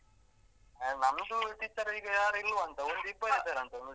A ನಮ್ದು teacher ಈಗ ಯಾರು ಇಲ್ವಂತೆ. ಒಂದಿಬ್ಬರು ಇದ್ದಾರಂತೆ ಮತ್ತೆಂತ.